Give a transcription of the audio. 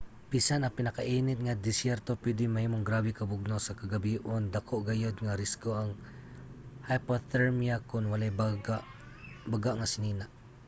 bisan ang pinakainit nga desyerto pwede mahimong grabe ka bugnaw sa kagabion. dako gayod nga risgo ang hypothermia kon walay baga nga sinina